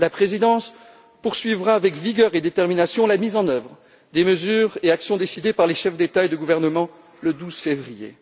réel. La présidence poursuivra avec vigueur et détermination la mise en œuvre des mesures et actions décidées par les chefs d'État et de gouvernement le 12 février